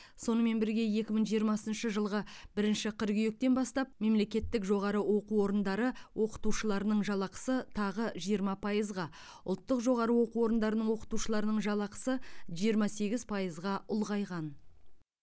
сонымен бірге екі мың жиырмасыншы жылғы бірінші қыркүйектен бастап мемлекеттік жоғары оқу орындары оқытушыларының жалақысы тағы жиырма пайызға ұлттық жоғары оқу орындарының оқытушыларының жалақысы жиырма сегіз пайызға ұлғайған